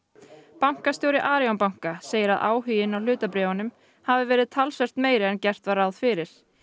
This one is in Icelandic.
bankastjóri Arion banka segir að áhuginn á hlutabréfunum hafi verið talsvert meiri en gert var ráð fyrir